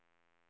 februari